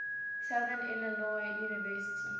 southern illinois university